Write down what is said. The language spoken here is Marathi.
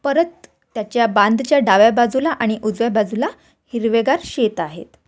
परत त्याच्या बांदच्या डाव्या बाजूला आणि उजव्या बाजूला हिरवेगार शेत आहेत.